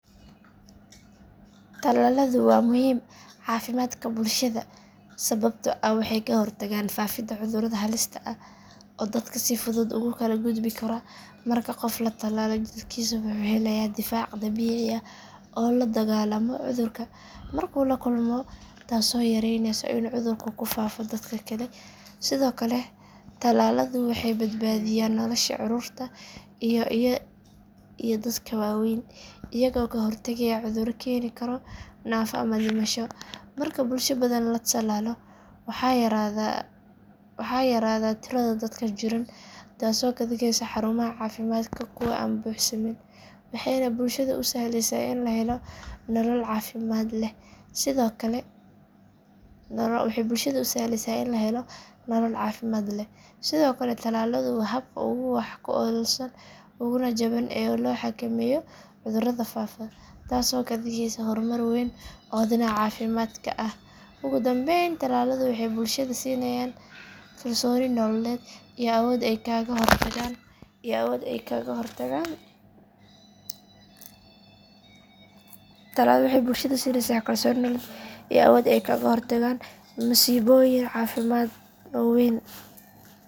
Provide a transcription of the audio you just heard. Talaaladu waa muhiim caafimaadka bulshada sababtoo ah waxay ka hortagaan faafidda cudurrada halista ah oo dadka si fudud ugu kala gudbi kara marka qof la talaalo jirkiisa wuxuu helayaa difaac dabiici ah oo la dagaallama cudurka markuu la kulmo taasoo yareyneysa in cudurku ku faafo dadka kale sidoo kale talaaladu waxay badbaadiyaan nolosha carruurta iyo dadka waaweyn iyagoo ka hortagaya cudurro keeni kara naafo ama dhimasho marka bulsho badan la talaalo waxaa yaraada tirada dadka jiran taasoo ka dhigaysa xarumaha caafimaadka kuwo aan buuxsamin waxayna bulshada u sahlaysaa in la helo nolol caafimaad leh sidoo kale talaaladu waa habka ugu wax ku oolsan uguna jaban ee loo xakameeyo cudurrada faafa taasoo ka dhigaysa hormar weyn oo dhinaca caafimaadka ah ugu dambeyn talaaladu waxay bulshada siinayaan kalsooni nololeed iyo awood ay kaga hortagaan masiibooyin caafimaad oo waaweyn.